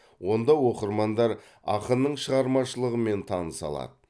онда оқырмандар ақынның шығармашылығымен таныса алады